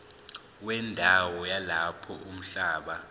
wendawo yalapho umhlaba